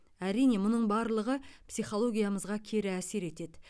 әрине мұның барлығы психологиямызға кері әсер етеді